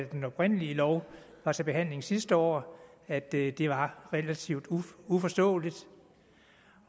den oprindelige lov var til behandling sidste år at det det var relativt uforståeligt